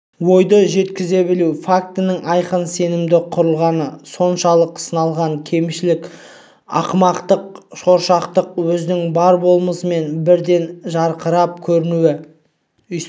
ойды жеткізе білу фактінің айқын сенімді құрылғаны соншалық сыналған кемшілік ақымақтық шоршақтық өзінің бар болмысымен бірден жарқырап көрінуі